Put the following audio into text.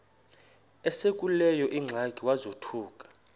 esekuleyo ingxaki wazothuka